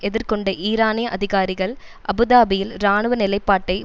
எதிர்கொண்ட ஈரானிய அதிகாரிகள் அபு தாபியில் இராணுவ நிலைப்பாட்டை